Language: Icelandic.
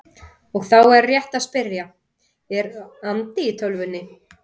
Og þá er rétt að spyrja: Er andi í tölvunni?